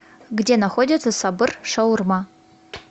где находится сабыр шаурма